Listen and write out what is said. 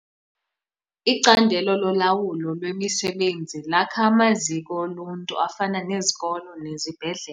Icandelo lolawulo lwemisebenzi lakha amaziko oluntu afana nezikolo nezibhedlele.